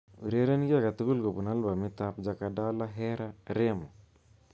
Ureren ki akatugul kobun albumitab Jakadala Hera Remo